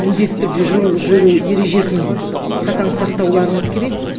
міндетті түрде жол жүру ережесін қатаң сақтауларыңыз керек